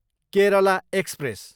Kerala express